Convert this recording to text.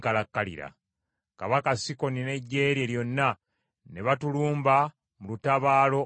Kabaka Sikoni n’eggye lye lyonna ne batulumba mu lutabaalo olw’e Yakazi.